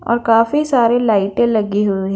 और काफी सारे लाइटें लगी हुई--